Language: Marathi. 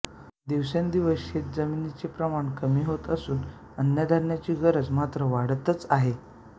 दिवसेंदिवस शेत जमिनीचे प्रमाण कमी होत असून अन्नधान्याची गरज मात्र वाढतच आहे